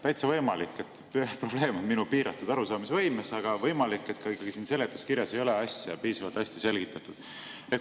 Täitsa võimalik, et probleem on minu piiratud arusaamisvõimes, aga võimalik, et ka ikkagi siin seletuskirjas ei ole asja piisavalt hästi selgitatud.